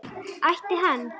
Ætti hann?